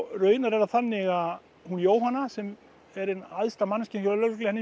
raunar er það þannig að hún Jóhanna sem er æðsta manneskja hjá lögreglunni